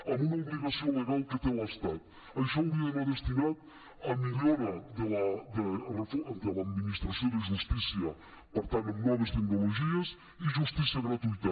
amb una obligació legal que té l’estat això hauria d’anar destinat a millora de l’administració de justícia per tant en noves tecnologies i justícia gratuïta